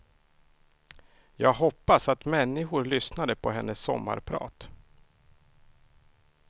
Jag hoppas att människor lyssnade på hennes sommarprat.